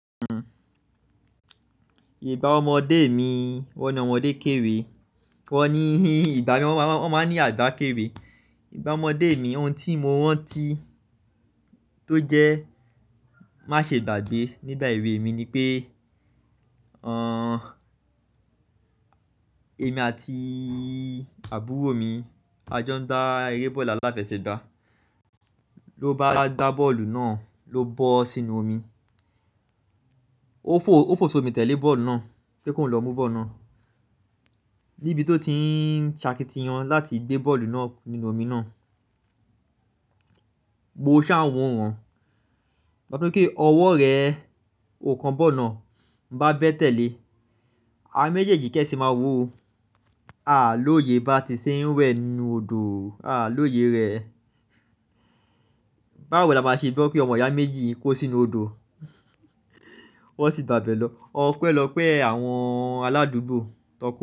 Ìbá ọmọdé mi, wọ́n ni ọmọdé kéré, wọ́n ni ìgbà mí, wọ́n máa ní àgbá kéwé. Ìgbá ọmọdé mi, ohun tí mo rántí tó jẹ́ má ṣe gbàgbé nígbà èwe mi ni pé, ẹmi àti àbúrò mi a jọ ń gbá eré bọ́ọ̀lù aláfẹsẹ̀gbá. Ó bá gbá bọ́ọ̀lù náà ló bọ́ sínú omi. Ó fo, ó fo sómi tẹ̀lé bọ́ọ̀lù náà kí ó lọ mú bọ́ọ̀lù náà. Níbi tó ti ń ṣakitiyan láti gbé bọ́ọ̀lù náà nínú omi náà, gbogbo ṣá wọ̀ wọ́n. Wọn sọ pé ọwọ́ rẹ o kan bọ́ọ̀lù náà, bá bẹ́ẹ̀ tẹ̀lé, a méjèèjì kẹ́ẹ́ sì máa wò ó. À lóye bá ti ṣe ń wẹ̀ nínú odò, à lóye rẹ. Báwo la máa ṣe gbọ́ pé ọmọ ìyá méjì kó sínú odò, wọ́n sì gbàbẹ lọ. Ọpẹ́lọpẹ̀ àwọn aládùúgbò, tọkọ.